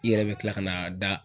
i yɛrɛ bɛ tila ka n'a da